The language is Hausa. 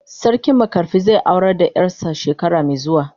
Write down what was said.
Sarki makarfi zai aurar da yar sa shekara mai zuwa.